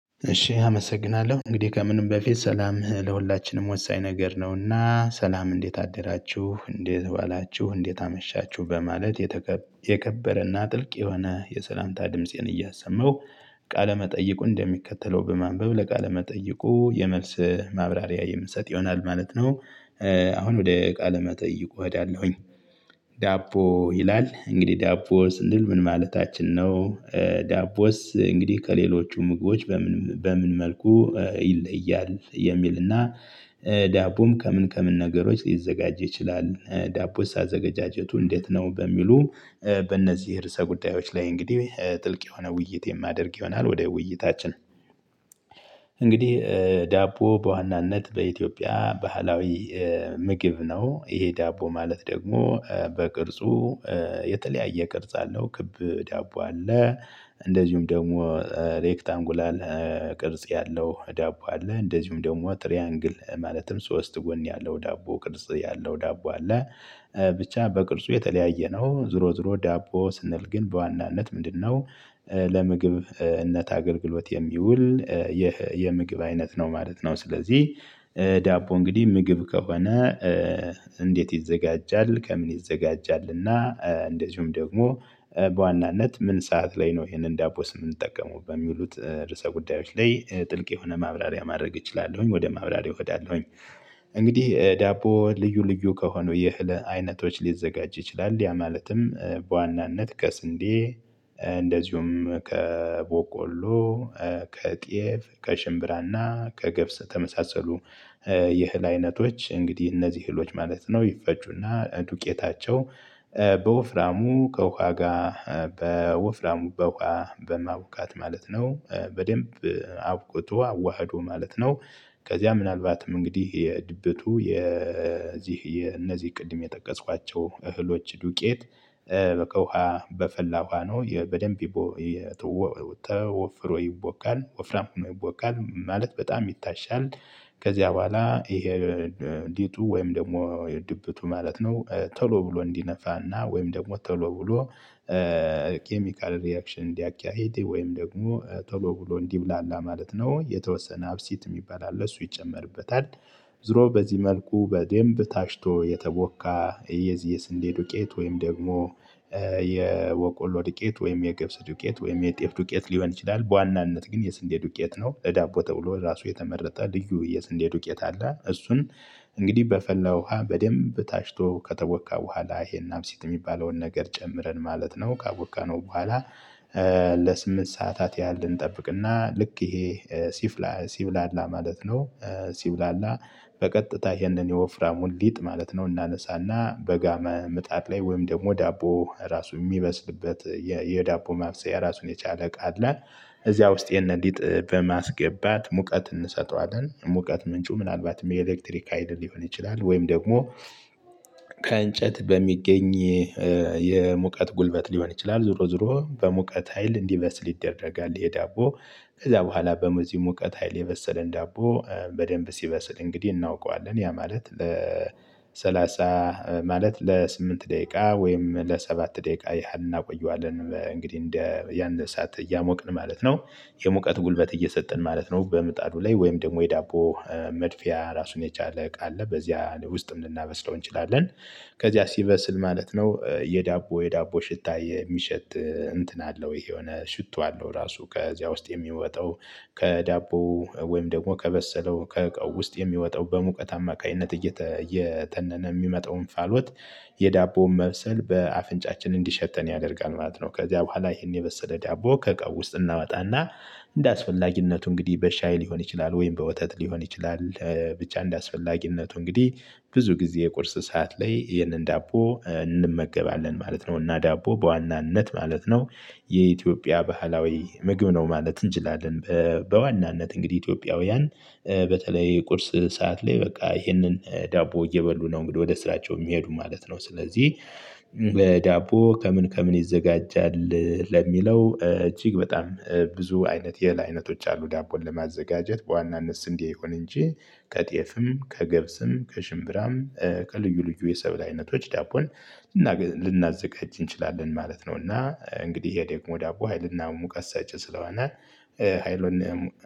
እሺ አመሰግናለሁ እንግዲህ ከምንም በፊት ሰላምህ ለሁላችንም ወሳኝ ነገር ነውና ሰላም እንዴት አደራችሁ እንዴት ዋላችሁ እንዴት አመሻችሁ በማለት የተከበረና ጥልቅ የሆነ የሰላምታ ድምፄን እያሰማው ቃለመጠይቁ እንደሚከተለው በማንበብ ለቃለመጠይቁ የመልስ ማብራሪያ የምንሰጥ ይሆናል ማለት ነው። አሁን ወደ እቃ ለመጠይቁ እሄዳለሁኝ። ዳቦ ይላል እንግዲህ ዳቦ ስንል ምን ማለታችን ነው? ዳቦስ እንግዲህ ከሌሎቹ ምግቦች በምን በምን መልኩ ይለያል የሚልና? ዳቦም ከምን ከምን ነገሮች ሊዘጋጅ ይችላል። ዳቦስ አዘገጃጀቱ እንዴት ነው በሚሉ? በእነዚህ ርዕሰ ጉዳዮች ላይ እንግዲህ ጥልቅ የሆነ ውይይት የማደርግ ይሆናል። ወደ ውይይታችን። እንግዲህ ዳቦ በዋናነት በኢትዮጵያ ባህላዊ ምግብ ነው። ይሄ ዳቦ ማለት ደግሞ በቅርጹ የተለያየ ቅርጽ አለው። ክብ ዳቦ አለ። እንደዚሁም ደግሞ ሬክታንጉላል ቅርጽ ያለው ዳቦ አለ። እንደዚሁም ደግሞ ትሪያንግል ማለትም ሶስት ጎን ያለው ዳቦ ቅርጽ ያለው ዳቦ አለ። ብቻ በቅርጹ የተለያየ ነው። ዝሮ ዝሮ ዳቦ ስንል ግን በዋናነት ምንድነው? ለምግብነት አገልግሎት የሚውል ይህ የምግብ አይነት ነው ማለት ነው። ስለዚህ ዳቦ እንግዲህ ምግብ ከሆነ። እንዴት ይዘጋጃል? ከምን ይዘጋጃልና። እንደዚሁም ደግሞ በዋናነት ምን ሰዓት ላይ ነው ይሄንን ዳቦስ የምንጠቀመው በሚሉት? ርዕሰ ጉዳዮች ላይ ጥልቅ የሆነ ማብራሪያ ማድረግ እችላለሁኝ። ወደ ማብራሪያ እሄዳለሁኝ። እንግዲህ ዳቦ ልዩ ልዩ ከሆኑ የእህል አይነቶች ሊዘጋጅ ይችላል። ያ ማለትም በዋናነት ከስንዴ እንደዚሁም ከበቆሎ ከጤፍ ከሽምብራና ከገብስ ተመሳሰሉ። የእህል አይነቶች እንግዲህ እነዚህ ህሎች ማለት ነው። ይፈጩና ዱቄታቸው በወፍራሙ ከውሃ ጋር በወፍራሙ በውሃ በማቡካት ማለት ነው። በደንብ አቡክቶ አዋህዶ ማለት ነው። ከዚያ ምናልባትም እንግዲህ የድብቱ የዚህ የነዚህ ቅድም የጠቀስኳቸው እህሎች ዱቄት። በውሃ በፈላ ውሃ ነው በደንብ የተወፍሮ ይቦካል። ወፍራም ሆኖ ይቦካል ማለት በጣም ይታሻል። ከዚያ በኋላ ይሄ ሊጡ ወይም ደግሞ የድብቱ ማለት ነው። ተሎ ብሎ እንዲነፋና ወይም ደግሞ ተሎ ብሎ። ኬሚካል ሪአክሽን እንዲያካሂድ ወይም ደግሞ ቶሎ ብሎ እንዲብላላ ማለት ነው። ወይ የተወሰነ አብሲት የሚባል አለ እሱ ይጨመርበታል። ዝሮ በዚህ መልኩ በደንብ ታሽቶ የተቦካ የዚህ የስንዴ ዱቄት ወይም ደግሞ የበቆሎ ዱቄት ወይም የገብስ ዱቄት ወይም የጤፍ ዱቄት ሊሆን ይችላል። በዋናነት ግን የስንዴ ዱቄት ነው። እዳቦ ተብሎ ራሱ የተመረጠ ልዩ የስንዴ ዱቄት አለ። እሱን እንግዲህ በፈለው ውሃ በደንብ ታሽቶ ከተቦካ በኋላ ይሄን አብሲት የሚባለውን ነገር ጨምረን ማለት ነው ካቦካነው በኋላ። ለስምንት ሰዓታት ያህል እንጠብቅና ልክ ይሄ ሲብላላ ማለት ነው። ሲብላላ በቀጥታ ይህንን የወፍራሙን ሊጥ ማለት ነው እናነሳና በጋ መምጣት ላይ ወይም ደግሞ ዳቦ ራሱ የሚበስልበት የዳቦ ማብሰያ የራሱን የቻለ እቃ አለ። እዚያ ውስጥ የነዲጥ በማስገባት ሙቀት እንሰጠዋለን ሙቀት ምንጩ ምናልባትም የኤሌክትሪክ ሀይል ሊሆን ይችላል። ወይም ደግሞ ከእንጨት በሚገኝ የሙቀት ጉልበት ሊሆን ይችላል። ዞሮ ዞሮ በሙቀት ሀይል እንዲበስ ይደረጋል። ይሄ ዳቦ። ከዛ በኋላ በዚህ ሙቀት ሀይል የበሰለን ዳቦ በደንብ ሲበስል እንግዲህ እናውቀዋለን ያ ማለት ለሰላሳ ማለት ለስምንት ደቂቃ ወይም ለሰባት ደቂቃ ያህል እናቆየዋለን እንግዲህ እንደ ያን ሰዓት እያሞቅን ማለት ነው። የሙቀት ጉልበት እየሰጠን ማለት ነው። በምጣዱ ላይ ወይም ደግሞ የዳቦ መድፊያ ራሱን የቻለ ቃል አለ በዚያ ውስጥም ልናበስለው እንችላለን። ከዚያ ሲበስል ማለት ነው የዳቦ የዳቦ ሽታ የሚሸጥ እንትን አለው ይሄ የሆነ ሽቶ አለው ራሱ ከዚያ ውስጥ የሚወጣው ከዳቦ ወይም ደግሞ ከበሰለው ከእቃው ውስጥ የሚወጣው በሙቀት አማካኝነት እየተነነ የሚመጣው እንፋሎት። የዳቦውን መብሰል በአፍንጫችን እንዲሸተን ያደርጋል ማለት ነው። ከዚያ በኋላ ይሄን የበሰለ ዳቦ ከቀው ውስጥ እናወጣና። እንደ አስፈላጊነቱ እንግዲህ በሻይ ሊሆን ይችላል ወይም በወተት ሊሆን ይችላል። ብቻ እንደ አስፈላጊነቱ እንግዲህ ብዙ ጊዜ የቁርስ ሰዓት ላይ ይህንን ዳቦ እንመገባለን ማለት ነው። እና ዳቦ በዋናነት ማለት ነው የኢትዮጵያ ባህላዊ ምግብ ነው ማለት እንችላለን። በዋናነት እንግዲህ ኢትዮጵያውያን በተለይ ቁርስ ሰዓት ላይ በቃ ይህንን ዳቦ እየበሉ ነው እንግዲህ ወደ ስራቸው የሚሄዱ ማለት ነው። ስለዚህ ለዳቦ ከምን ከምን ይዘጋጃል ለሚለው እጅግ በጣም ብዙ አይነት የእህል አይነቶች አሉ። ዳቦን ለማዘጋጀት በዋናነት ስንዴ ይሁን እንጂ ከጤፍም ከገብስም ከሽምብራም ከልዩ ልዩ የሰብል አይነቶች ዳቦን ልናዘጋጅ እንችላለን ማለት ነው። እና እንግዲህ ይሄ ደግሞ ዳቦ ሀይልና ሙቀት ሰጪ ስለሆነ ሀይሉን